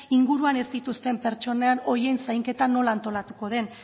inguruan ez dituzten pertsona horien zainketa nola antolatuko den